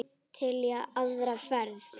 Til í aðra ferð.